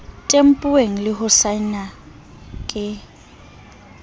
tempuweng le ho saenwa ke